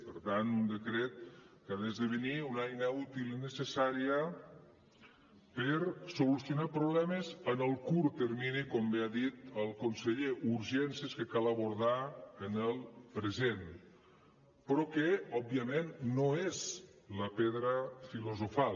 per tant un decret que ha d’esdevenir una eina útil i necessària per solucionar problemes en el curt termini com bé ha dit el conseller urgències que cal abordar en el present però que òbviament no és la pedra filosofal